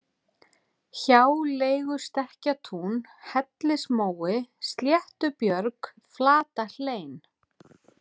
Hjáleigustekkjatún, Hellismói, Sléttubjörg, Flatahlein